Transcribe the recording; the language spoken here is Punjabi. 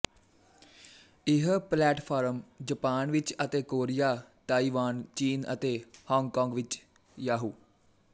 ਇਹ ਪਲੇਟਫ਼ਾਰਮ ਜਪਾਨ ਵਿੱਚ ਅਤੇ ਕੋਰੀਆ ਤਾਈਵਾਨ ਚੀਨ ਅਤੇ ਹਾਂਗਕਾਂਗ ਵਿੱਚ ਯਾਹੂ